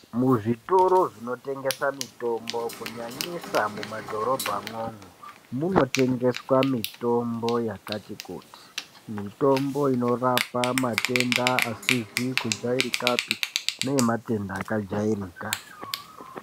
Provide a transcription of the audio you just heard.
Muzvitoro zvinotengesa mitombo zvanesa mumadhorobhamwo munotengeswa mitombo yakati kuti mitombo inorapa matenda asizi kujairikapi neematenda akajairika.